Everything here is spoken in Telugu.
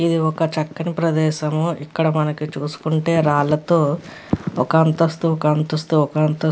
ఇది ఒక చక్కని ప్రదేశము. ఇక్కడ మనకి చూసుకుంటే రాళ్ళతో ఒక అంతస్తు ఒక అంతస్తు అలా--